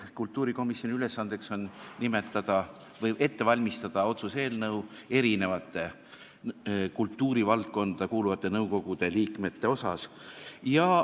Kultuurikomisjoni ülesanne on ette valmistada otsused mitme kultuurivaldkonda kuuluva nõukogu liikmete kohta.